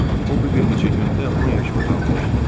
O bir neçə gündə 10 yaş qocalmışdı.